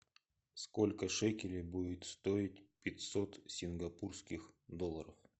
сколько шекелей будет стоить пятьсот сингапурских долларов